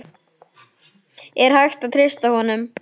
Er hægt að treysta honum?